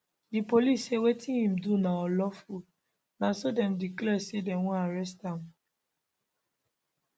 di police say wetin im do na unlawful na so dey declare say dey wan arrest am